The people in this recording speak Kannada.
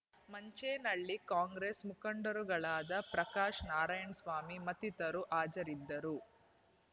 ಮಂಚೇನಹಳ್ಳಿ ಕಾಂಗ್ರೆಸ್ ಮುಖಂಡ‌ರುಗಳಾದ ಪ್ರಕಾಶ್ ನಾರಾಯಣಸ್ವಾಮಿ ಮತ್ತಿತರು ಹಾಜರಿದ್ದರು